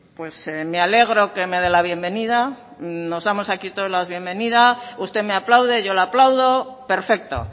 pues me alegro que me dé la bienvenida nos damos aquí todas las bienvenida usted me aplaude yo le aplaudo perfecto